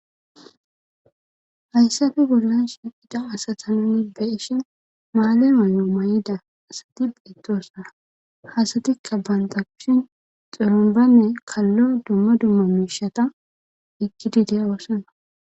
hayssafe bollanshin idao asata nuni beishin maale ma7o may7ida asati bettosara hasatikka bantapushin xulunbanne kallo dumma dumma miishata ekkidi deya wossana